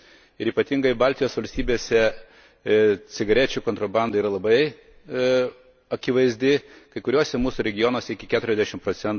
Ir ypatingai Baltijos valstybėse cigarečių kontrabanda yra labai akivaizdi kai kuriuose mūsų regionuose iki 40 proc.